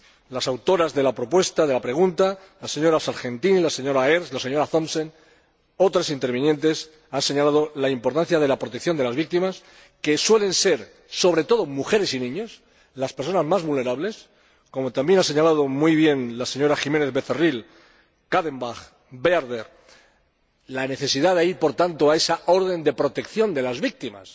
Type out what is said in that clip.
Las autoras de la pregunta, la señora Sargentini, la señora Ernst, la señora Thomsen, otras intervinientes, han señalado la importancia de la protección de las víctimas, que suelen ser sobre todo mujeres y niños las personas más vulnerables como también han señalado muy bien las señoras Jiménez Becerril Barrio, Kadenbach y Bearder, la necesidad de ir, por tanto, a esa orden de protección de las víctimas,